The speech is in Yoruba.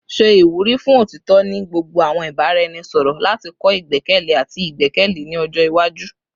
Ṣe iwuri fun otitọ ni gbogbo awọn ibaraẹnisọrọ lati kọ igbẹkẹle ati igbẹkẹle ni ọjọ iwaju